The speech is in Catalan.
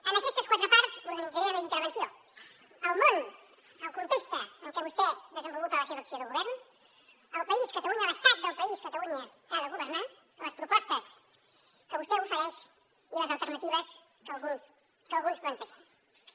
en aquestes quatre parts organitzaré la meva intervenció el món el context en què vostè desenvolupa la seva acció de govern el país catalunya l’estat del país catalunya que ha de governar les propostes que vostè ofereix i les alternatives que alguns plantegem